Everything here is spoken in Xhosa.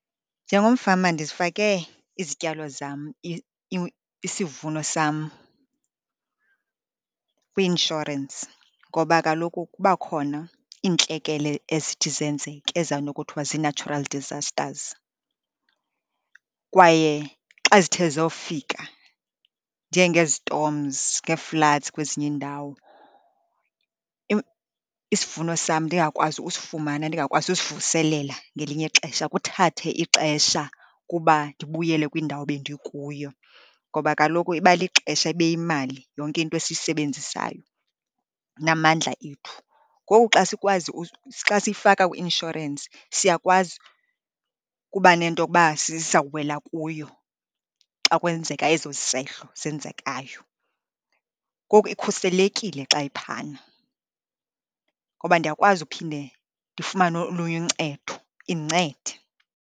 Njengomfama ndizifake izityalo zam isivuno sam kwi-inshorensi, ngoba kaloku kuba khona iintlekele ezithi zenzeke ezinokuthiwa zii-natural disasters. Kwaye xa zithe zofika, njengezitomzi, ngee-floods kwezinye iindawo, isivuno sam ndingakwazi usifumana, ndingakwazi usivuselela ngelinye ixesha. Kuthathe ixesha ukuba ndibuyele kwindawo ebendikuyo ngoba kaloku iba lixesha, ibe yimali yonke into esiyisebenzisayo namandla ethu. Ngoku xa sikwazi xa siyifaka kwi-inshorensi siyakwazi ukuba nento yokuba sizawuwela kuyo xa kwenzeka eso sehlo senzekayo. Ngoku ikhuselekile xa iphana, ngoba ndiyakwazi uphinde ndifumane olunye uncedo indincede.